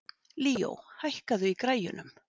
Líó, hækkaðu í græjunum.